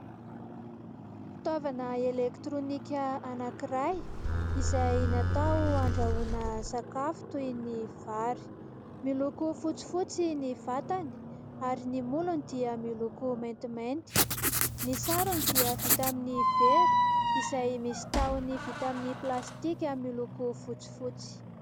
Fitaovana elektirônika anankiray izay natao handrahoana sakafo toy ny vary. Miloko fotsifotsy ny vatany ary ny molony dia miloko maintimainty. Ny sarony dia vita amin'ny vera izay misy tahony vita amin'ny plastika miloko fotsifotsy.